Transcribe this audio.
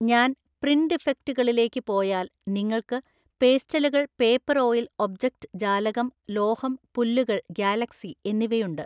ഞാൻ പ്രിന്റ് ഇഫക്ടുകളിലേക്കു പോയാൽ നിങ്ങൾക്ക് പേസ്റ്റലുകൾ പേപ്പർ ഓയിൽ ഒബ്ജക്റ്റ് ജാലകം ലോഹം പുല്ലുകൾ ഗാലക്സി എന്നിവയുണ്ട്.